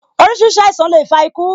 Orísìírísìí àìsàn le fa iku